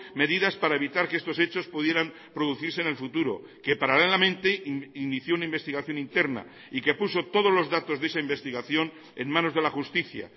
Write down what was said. medidas para evitar que estos hechos pudieran producirse en el futuro que paralelamente inició una investigación interna y que puso todos los datos de esa investigación en manos de la justicia